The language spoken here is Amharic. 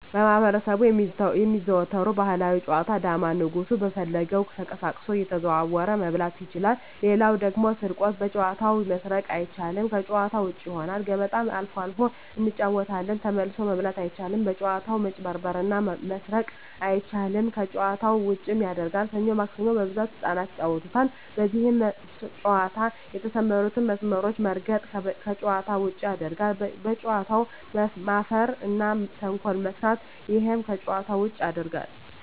በማህበረሰቡ የሚዘወተሩ ባህላዊ ጨዋታ ዳማ ንጉሡ በፈለገው ተቀሳቅሶ እየተዘዋወረ መብላት ይችላል ሌላው ደግሞ ስርቆት በጨዋታው መስረቅ አይቻልም ከጭዋታ ውጭ ይሆናል ገበጣ አልፎ አልፎ እንጫወታለን ተመልሶ መብላት አይቻልም በጭዋታው መጭበርበር እና መስረቅ አይቻልም ከጨዋታው ዉጭም ያረጋል ሠኞ ማክሰኞ በብዛት ህጻናት ይጫወታሉ በዚህ ጨዋታ የተሠማሩትን መስመሮች መርገጥ ከጨዋታ ውጭ ያረጋል በጨዋታው መፈረ እና ተንኮል መስራት እሄም ከጨዋታ ውጭ ያረጋል